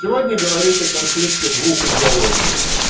сегодня говорить о конфликте двух идеологий